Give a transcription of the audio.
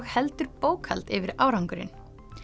heldur bókhald yfir árangurinn